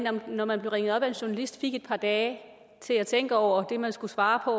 når man blev ringet op af en journalist fik et par dage til at tænke over det man skulle svare på